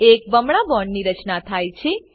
એક બમણા બોન્ડની રચના થાય છે